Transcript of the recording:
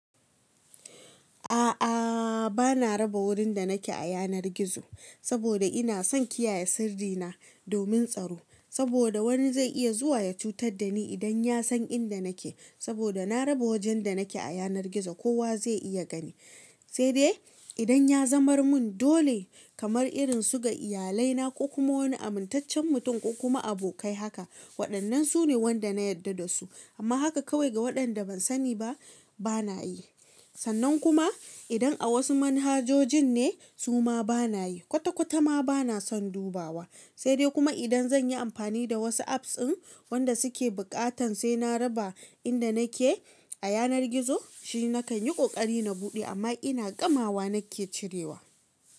A'a, ba na raba wurin da nake a yanar gizo saboda ina son kiyaye sirri na domin tsaro. Saboda wani zai iya zuwa ya cutar da ni idan ya san inda nake. Sabuda na raba wajan da nake a yanar gizo koya zai dunga gani sai dai idan ya zamar mun dole kamar irin su ga iyalai na ko kuma wani amintaccen mutum ko kuma abokai haka. Wadannan sune wadda na yadda dasu amma haka kawai ga waɗanda ban sani ba, ba na yi. Sannan kuma idan a wasu manhajojin ne, su ma ba na yi. Kwata kwata ma ba na son dubawa. Sai dai kuma idan zan yi amfani da wasu apps ɗin waɗanda suke buƙatan sai na raba inda nake a yanar gizo, shi na kan yi ƙoƙari na buɗe amma ina ƙamawa nake cirewa.